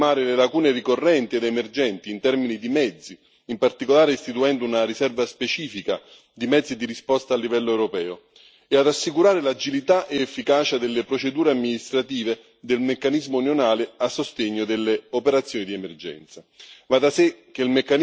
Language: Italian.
La revisione servirà a colmare le lacune ricorrenti ed emergenti, in termini di mezzi, in particolare istituendo una riserva specifica di mezzi di risposta a livello europeo, e a rassicurare l'agilità ed efficacia delle procedure amministrative del meccanismo unionale a sostegno delle operazioni di emergenza.